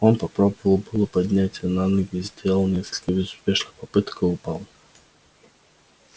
он попробовал было подняться на ноги сделал несколько безуспешных попыток и упал